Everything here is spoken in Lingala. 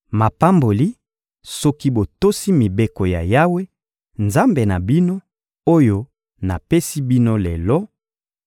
Mapamboli, soki botosi mibeko ya Yawe, Nzambe na bino, oyo napesi bino lelo;